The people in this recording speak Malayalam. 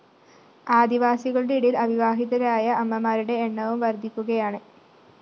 ആദിവാസികളുടെ ഇടയില്‍ അവിവാഹിതരായ അമ്മമാരുടെ എണ്ണവും വര്‍ധിക്കുകയാണ്